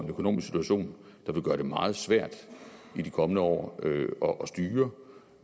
økonomisk situation der vil gøre det meget svært i de kommende år år at styre